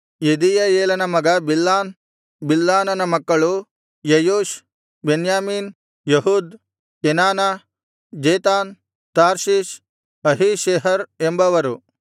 ಯೆದೀಯಯೇಲನ ಮಗ ಬಿಲ್ಹಾನ್ ಬಿಲ್ಹಾನನ ಮಕ್ಕಳು ಯೆಯೂಷ್ ಬೆನ್ಯಾಮೀನ್ ಏಹೂದ್ ಕೆನಾನ ಜೇತಾನ್ ತಾರ್ಷೀಷ್ ಅಹೀಷೆಹರ್ ಎಂಬವರು